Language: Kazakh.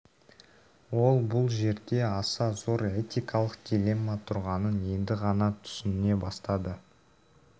ол бұл жерде аса зор этикалық дилемма тұрғанын енді ғана түсіне бастады